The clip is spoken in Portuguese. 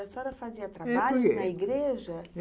A senhora fazia trabalho na igreja?